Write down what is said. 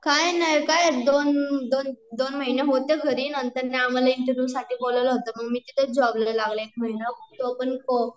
कायनाय काय दोन , दोन दोन महीने होते घरी नंतर मग ना आम्हाला इंटरव्ह्युसाठी बोलावलं होतं, मग मी तिथंच जॉब ला लागले, एक महिना तो पण करोंना